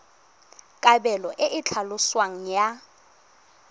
kabelo e e tlhaloswang ya